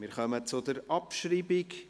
Wir kommen zur Abschreibung.